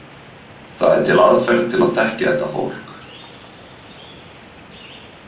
Það er til aðferð til að þekkja þetta fólk.